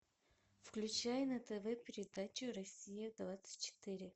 включай на тв передачу россия двадцать четыре